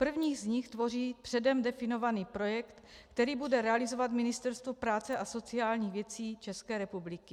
První z nich tvoří předem definovaný projekt, který bude realizovat Ministerstvo práce a sociálních věcí České republiky.